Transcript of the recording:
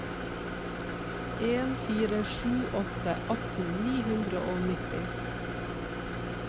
en fire sju åtte atten ni hundre og nitti